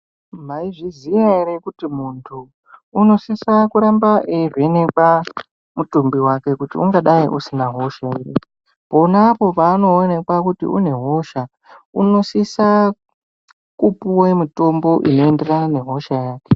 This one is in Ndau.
Mayizvi ziya ere kuti muntu unosisa kuramba eivhenekwa mutumbi wake, kuti ungadai usina hosha ere. Ponapo paano onekwa kuti une hosha, uno sise kupuwa mutombo unoenderana nehosha yake.